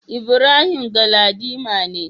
Ibrahim Galadima ne.